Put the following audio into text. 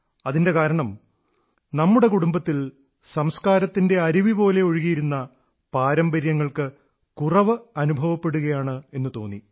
അതിന്റെ കാരണം നമ്മുടെ കുടുംബത്തിൽ സംസ്കാരത്തിന്റെ അരുവിപോലെ ഒഴുകിയിരുന്ന പാരമ്പര്യങ്ങൾക്ക് കുറവ് അനുഭവപ്പെടുകയാണ് എന്നു തോന്നി